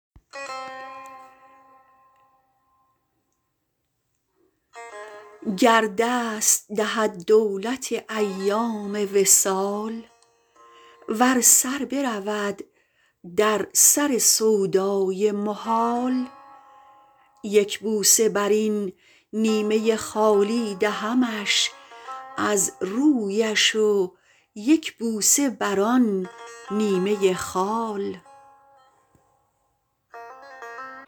گر دست دهد دولت ایام وصال ور سر برود در سر سودای محال یک بوسه برین نیمه خالی دهمش از رویش و یک بوسه بران نیمه خال